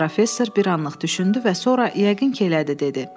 Professor bir anlıq düşündü və sonra yəqin ki, elədi, dedi.